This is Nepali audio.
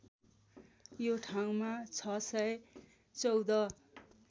यो ठाउँमा ६१४